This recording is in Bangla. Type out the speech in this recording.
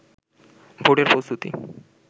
ভোটের প্রস্তুতি